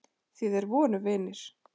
Því þeir voru vinir.